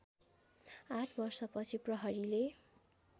८ वर्षपछि प्रहरीले